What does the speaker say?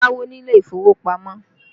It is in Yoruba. Má yáwó ni ilé ìfowópamọ́!